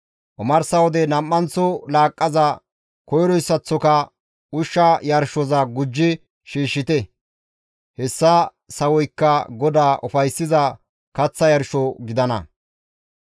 Omarsa wode nam7anththo laaqqaza koyroyssaththoka ushsha yarshoza gujjidi shiishshite; hessa sawoykka GODAA ufayssiza kaththa yarsho gidana.